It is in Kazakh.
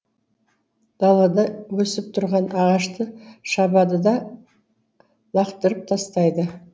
далада өсіп тұрған ағашты шабады да лақытырып тастайды